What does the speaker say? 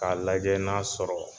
K'a lajɛ n'a sɔrɔ